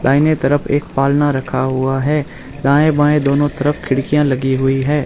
दाहिने तरफ एक पालना रखा हुआ है दाएं बाएं दोनों तरफ खिड़कियां लगी हुई है।